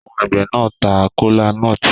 Àwọn àgbẹ̀ náà ta kola nut